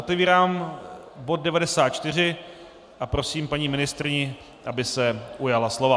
Otevírám bod 94 a prosím paní ministryni, aby se ujala slova.